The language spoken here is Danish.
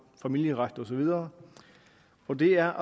og familieretten og så videre og det er